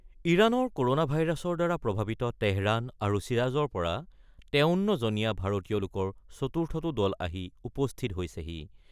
ইৰানৰ ক'ৰনা ভাইৰাছৰ দ্বাৰা প্ৰভাৱিত তেহৰান আৰু শ্বিৰাজৰ পৰা ৫৩ জনীয়া ভাৰতীয় লোকৰ চতুৰ্থটো দল আহি উপস্থিত হৈছেহি।